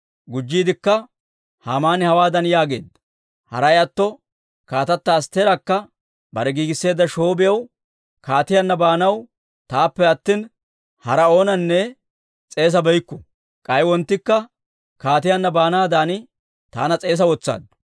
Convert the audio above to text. Gujjiidikka Haamani hawaadan yaageedda; «Haray atto kaatata Astteerakka bare giigisseedda shoobiyaw kaatiyaanna baanaw taappe attina, haraa oonanne s'eesabeykku. K'ay wonttikka kaatiyaanna baanaadan taana s'eesa wotsaaddu.